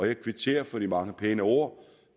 jeg kvitterer for de mange pæne ord